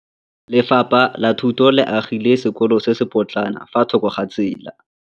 Lefapha la Thuto le agile sekôlô se se pôtlana fa thoko ga tsela.